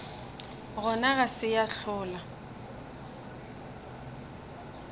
gona ga se ya hlola